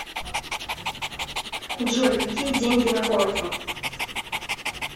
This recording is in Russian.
джой какие деньги на корфу